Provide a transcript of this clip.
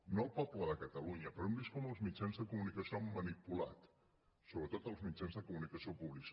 no el poble de catalunya però hem vist com els mitjans de comunicació han manipulat sobretot els mitjans de comunicació públics